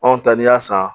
Anw ta ni y'a san